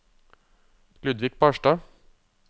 Ludvig Barstad